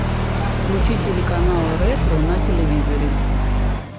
включи телеканал ретро на телевизоре